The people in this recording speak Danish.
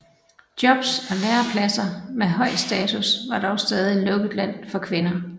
Jobs og lærepladser med høj status var dog stadig lukket land for kvinder